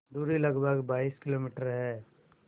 दूरी लगभग बाईस किलोमीटर है